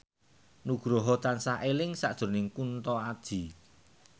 Nugroho tansah eling sakjroning Kunto Aji